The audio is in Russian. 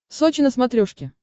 сочи на смотрешке